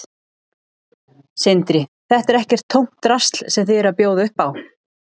Sindri: Þetta er ekkert tómt drasl sem þið eruð að bjóða upp á?